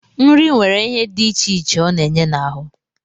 Nri nwere ihe dị iche iche ọ na-enye n'ahụ